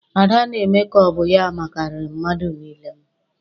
Ada na-eme ka ọ bụ ya makariri mmadụ niile.